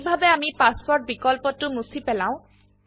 কিভাবে আমি পাসওয়ার্ড বিকল্পটো মুছি পেলাও